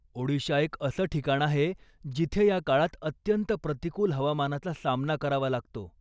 ओडिशा एक असं ठिकाण आहे जिथे या काळात अत्यंत प्रतिकूल हवामानाचा सामना करावा लागतो.